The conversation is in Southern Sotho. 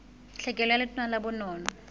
tlhekelo ka letona la bonono